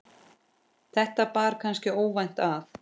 þetta bar kannski óvænt að.